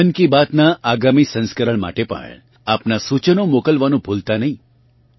મન કી બાત નાં આગામી સંસ્કરણ માટે પણ આપના સૂચનો મોકલવાનું ભૂલતા નહીં